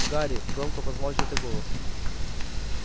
гарри громко позвал чей-то голос